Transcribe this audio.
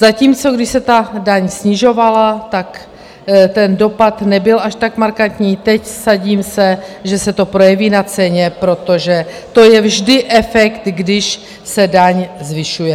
Zatímco když se ta daň snižovala, tak ten dopad nebyl až tak markantní, teď, vsadím se, že se to projeví na ceně, protože to je vždy efekt, když se daň zvyšuje.